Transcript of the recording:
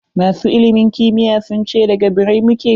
Masu ilimin kimiyy sun ce da g birrai mu ke.